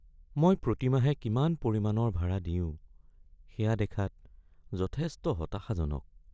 মই প্ৰতি মাহে কিমান পৰিমাণৰ ভাৰা দিওঁ সেয়া দেখাত যথেষ্ট হতাশাজনক।